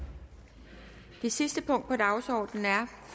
jeg sige